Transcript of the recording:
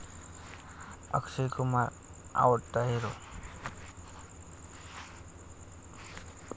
अक्षय कुमार आवडता हिरो